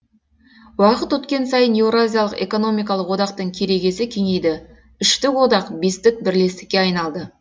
уақыт өткен сайын еуразиялық экономикалық одақтың керегесі кеңейді үштік одақ бестік бірлестікке айналды